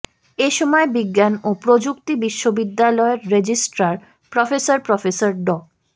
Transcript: এ সময় বিজ্ঞান ও প্রযুক্তি বিশ্ববিদ্যালয়ের রেজিস্ট্রার প্রফেসর প্রফেসর ড